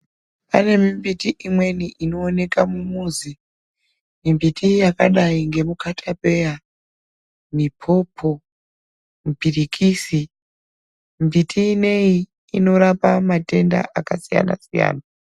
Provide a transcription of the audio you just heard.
Pane mi mbiti imweni ino oneka mu muzi mbiti yakadai nemu katapeya mipopo mipirikisi mbiti ineyi inorapa matenda aka siyana siyana.